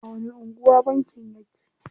A wani anguwa bankin yake?